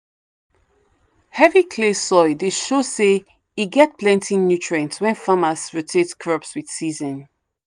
heavy clay soil dey show say e get plenty nutrients when farmers rotate crops with season.